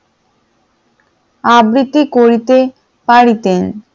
আবৃতি করিতে পারিতেন।